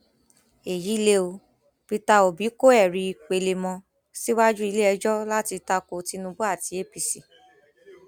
èyí lè o peter obi kọ ẹrí pelemọ síwájú iléẹjọ láti ta ko tinubu àti apc